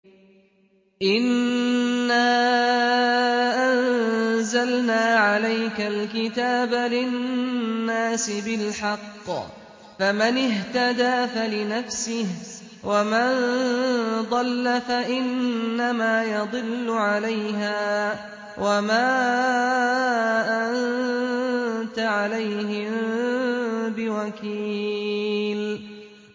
إِنَّا أَنزَلْنَا عَلَيْكَ الْكِتَابَ لِلنَّاسِ بِالْحَقِّ ۖ فَمَنِ اهْتَدَىٰ فَلِنَفْسِهِ ۖ وَمَن ضَلَّ فَإِنَّمَا يَضِلُّ عَلَيْهَا ۖ وَمَا أَنتَ عَلَيْهِم بِوَكِيلٍ